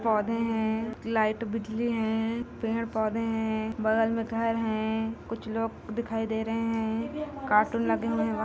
पौधे है लाइट बिजली है पेड़- पौधे है बगल मे घर है कुछ लोग दिखाई दे रहे है कार्टून लगे हुए है बाहर--